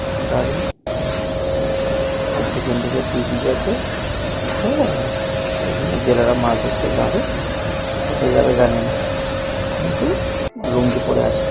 দাড়ি পিছন দিকে ব্রিজ আছে হ্যা এখানে জেলারা মাছ ধরতে যাবে কোথায় যাবে জানি না কিন্তু লুঙ্গি পড়ে আছে।